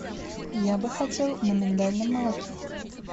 я бы хотел на миндальном молоке